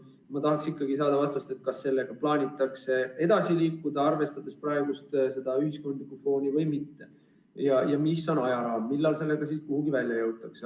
Aga ma tahaksin ikkagi vastust küsimusele, kas selle registriga plaanitakse edasi liikuda, arvestades praegust ühiskondlikku fooni, või mitte ja millal sellega kuhugi välja jõutakse.